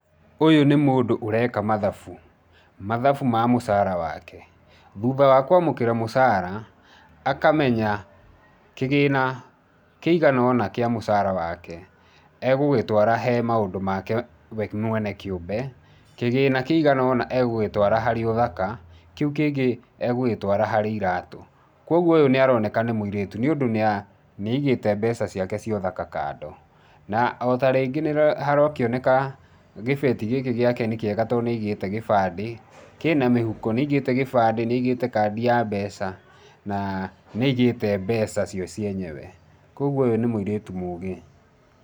ũyũ nĩmũndũ ũreka mathabu, mathabu ma mũcara wake thutha wa kwamũkĩra mũcara akamenya kĩgĩna kĩigana ona kĩa mũcara wake agũgĩtwara he maũndũ make we mwene kĩũmbe, kĩgĩna kĩigana ona agũgĩtwara harĩ ũthaka, kĩu kĩngĩ agũgĩtwara harĩ iratũ. Kwogwo ũyũ nĩaronekana nĩ mũirĩtu nĩũndũ nĩaigĩte mbeca ciake cia ũthaka kando. Na otarĩngĩ nĩharakĩoneka gĩbeti gĩkĩ gĩakwa nĩkĩega tondũ nĩagĩte gĩbande, kĩna mĩhuko. Nĩagĩte gĩbande, nĩaigĩte kandi ya mbeca. Na nĩagĩte mbeca cio cienyewe. Kwogwo ũyũ nĩ mũirĩtu mũgĩ.